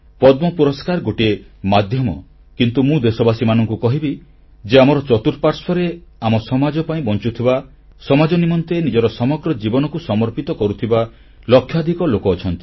ପଦ୍ମ ପୁରସ୍କାର ଗୋଟିଏ ମାଧ୍ୟମ କିନ୍ତୁ ମୁଁ ଦେଶବାସୀଙ୍କୁ କହିବି ଯେ ଆମର ଚତୁଃପାର୍ଶ୍ବରେ ଆମ ସମାଜ ପାଇଁ ବଞ୍ଚୁଥିବା ସମାଜ ନିମନ୍ତେ ନିଜର ସମଗ୍ର ଜୀବନକୁ ସମର୍ପିତ କରୁଥିବା ଲକ୍ଷାଧିକ ଲୋକ ଅଛନ୍ତି